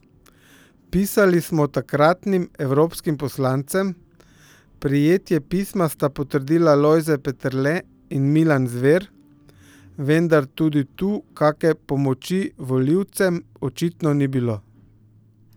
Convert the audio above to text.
Pisali smo takratnim evropskim poslancem, prejetje pisma sta potrdila Lojze Peterle in Milan Zver, vendar tudi tu kake pomoči volivcem očitno ni bilo.